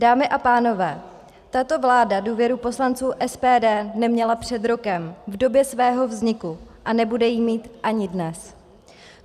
Dámy a pánové, tato vláda důvěru poslanců SPD neměla před rokem v době svého vzniku a nebude ji mít ani dnes.